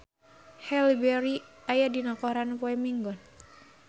Halle Berry aya dina koran poe Minggon